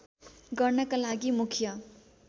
गर्नका लागि मुख्य